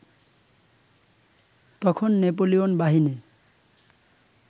তখন নেপোলিয়ন বাহিনী